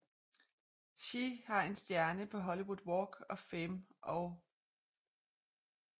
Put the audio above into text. She har en stjerne på Hollywood Walk of Fame og St